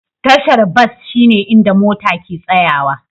Tashar bas shine inda mota ke tsayawa.